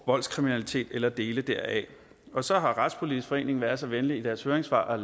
voldskriminalitet eller dele deraf så har retspolitisk forening været så venlige i deres høringssvar